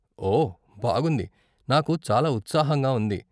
ఓ బాగుంది, నాకు చాలా ఉత్సాహంగా ఉంది.